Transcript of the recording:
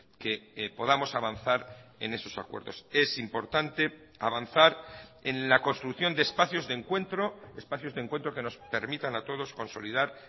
que podamos avanzar en esos acuerdos es importante avanzar en la construcción de espacios de encuentro espacios de encuentro que nos permitan a todos consolidar